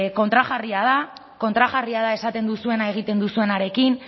kontrajarria da kontrajarria da esaten duzuena egiten duzuenarekin